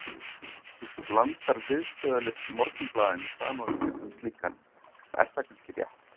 Þú blandar viðstöðulaust Morgunblaðinu saman við mig sem slíkan og er það kannski rétt.